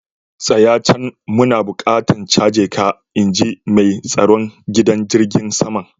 Tsaya can! muna buƙatan caje ka, In ji mai tsaron gidan jirigin saman.